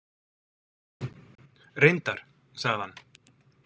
Reyndar, sagði hann.